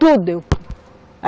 Tudo.